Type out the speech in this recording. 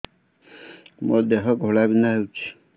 ମୋ ଦେହ ଘୋଳାବିନ୍ଧା ହେଉଛି